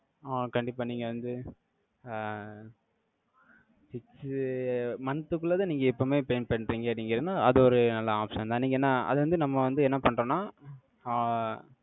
ஆஹ் கண்டிப்பா நீங்க வந்து, அஹ் six month குள்ளதான், நீங்க எப்பவுமே pay பண்றீங்க, நீங்க என்னா, அது ஒரு நல்ல option தான். நீங்க என்ன, அது வந்து, நம்ம வந்து, என்ன பண்றோம்னா, ஆஹ்